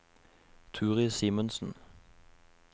Turid Simensen